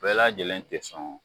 Bɛɛ lajɛlen tɛ sɔn